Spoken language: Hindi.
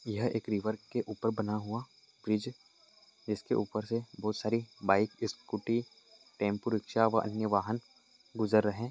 यह एक रिवर के ऊपर बना हुआ ब्रिज इसके ऊपर से बहोत सारी बाइक स्कूटी टेम्पो रिक्शा व अन्य वाहन गुजर रहे।